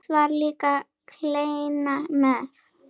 Oft var líka kleina með.